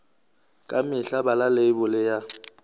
ka mehla bala leibole ya